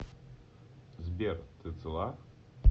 сбер ты цела